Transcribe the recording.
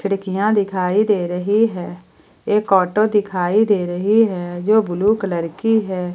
खिड़कियां दिखाई दे रही है एक ऑटो दिखाई दे रही है जो ब्लू कलर की है।